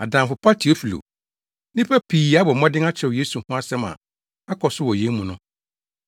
Adamfo pa Teofilo, nnipa pii abɔ mmɔden akyerɛw Yesu ho nsɛm a akɔ so wɔ yɛn mu no.